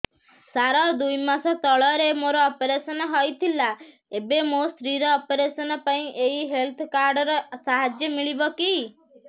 ସାର ଦୁଇ ମାସ ତଳରେ ମୋର ଅପେରସନ ହୈ ଥିଲା ଏବେ ମୋ ସ୍ତ୍ରୀ ର ଅପେରସନ ପାଇଁ ଏହି ହେଲ୍ଥ କାର୍ଡ ର ସାହାଯ୍ୟ ମିଳିବ କି